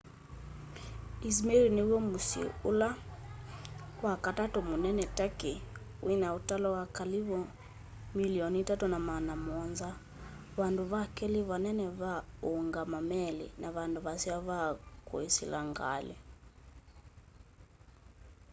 izmir nĩ wyo mũsyĩ ũlala wakatatũ mũnene tũrkey wĩna ũtalo kalĩvũ 3.7 mĩlĩonĩ vandũ vakelĩ vanene va ũngamaa meli na vandũ vaseo va kũsĩla ngalĩ